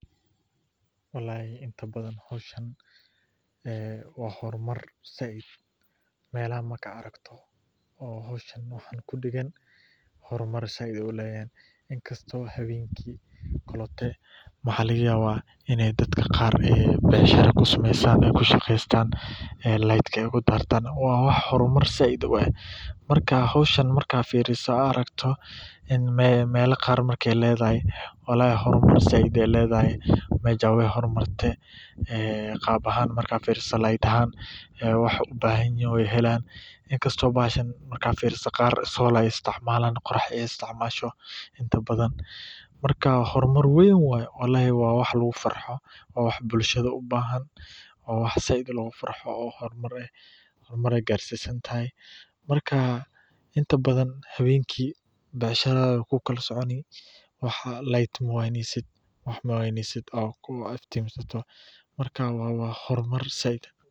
Walhi inta baadan xoshan ah wa hormar said malaha marka argto, oo xoshan waxan ku dagan wa xormar said lahay inkastoh hawanki oklata wax laga yaba ina dadka qar bacshira ku samastan ah ku shaqastan ah laydka ku dartan wa xormar said ah marka xoshan marka firisoh wax argto in mal qar aya ladahay xormaar saaid ah aya ladahay majasa way xormarta ah qaba ahan marka firisoh layad ahan waxay ubahanyihin oo halan inkastoh bahashan marka firiso qab solar aya isticmalan qorax aya isticmalan istimasho inta baadan marka hormar waan waye, walhi wa wax lagu farxo wa wax bulshada ubahan oo wax saaid ah logu farxo oo hormar ah hormar ayay garsi santahay, marka inta badan hawanki bacshirada way kula soconi wax wa layta mawaynsid oo ku iftinsatoh marka wa hormar saaid ah.